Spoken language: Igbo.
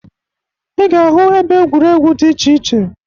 Ị ga-ahụ ebe egwuregwu dị iche iche.